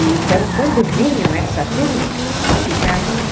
Então, quando vinham essa turma, ficavam lá.